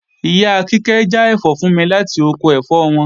Ìyá Kíkẹ́ já ẹ̀fọ́ fún mi láti oko ẹ̀fọ́ wọn